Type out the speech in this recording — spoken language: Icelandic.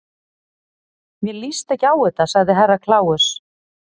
Mér líst ekki á þetta, sagði Herra Kláus.